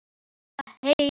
Svaka haus.